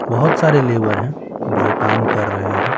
बहुत सारे लेबर हैं जो काम कर रहे हैं।